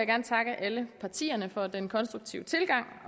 gerne takke alle partierne for den konstruktive tilgang